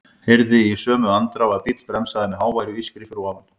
Heyrði í sömu andrá að bíll bremsaði með háværu ískri fyrir ofan.